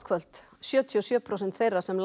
kvöld sjötíu og sjö prósent þeirra sem